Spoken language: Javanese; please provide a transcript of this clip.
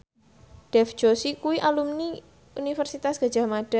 Dev Joshi kuwi alumni Universitas Gadjah Mada